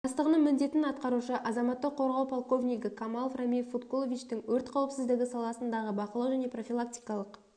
бастығының міндетін атқарушы азаматтық қорғау полковнигі камалов рамиль фаткуловичтің өрт қауіпсіздігі саласындағы бақылау және профилактикалық